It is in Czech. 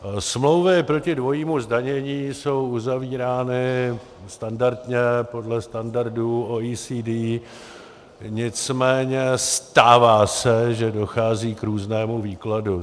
Smlouvy proti dvojímu zdanění jsou uzavírány standardně podle standardu OECD, nicméně stává se, že dochází k různému výkladu.